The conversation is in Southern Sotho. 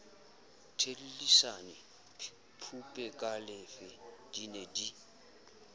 thellisane phupekalefe di ne di